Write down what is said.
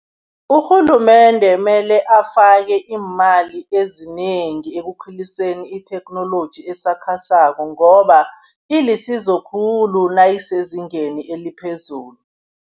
Urhulumende mele afake iimali ezinengi ekukhuliseni itheknoloji esakhasako, ngoba ilisizo khulu nayisezingeni eliphezulu.